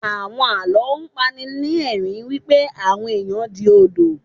Àwọn Àlọ́ a pani ni ẹ̀rín wípé àwọn ẹ̀yàn di Odò.